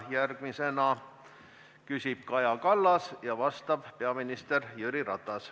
Järgmisena küsib Kaja Kallas ja vastab peaminister Jüri Ratas.